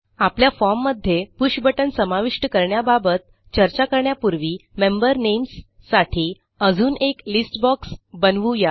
आपल्या फॉर्म मध्ये push button समाविष्ट करण्याबाबत चर्चा करण्यापूर्वी मेंबर नेम्स साठी अजून एक लिस्ट बॉक्स बनवू या